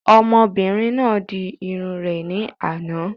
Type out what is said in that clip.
Ọmọbìnrin náà di irun rẹ̀ ní àná